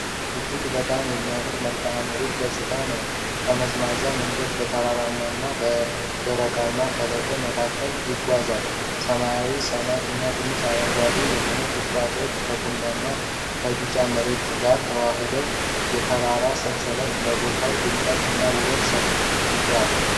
እጅግ በጣም የሚያምር የመልክዓ ምድር ገጽታ ነው። ጠመዝማዛ መንገድ በተራራማና በደረቅማ ሸለቆዎች መካከል ይጓዛል። ሰማያዊ ሰማይ እና ትንንሽ አረንጓዴ የሆኑ ቁጥቋጦዎች ከቡናማና ከቢጫማ መሬት ጋር ተዋህደዋል። የ ታራራ ሰንሰለቱም ለቦታው ድምቀት እና ውበት ሰጦታል።